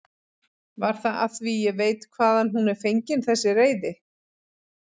Var það af því ég veit hvaðan hún er fengin þessi reiði?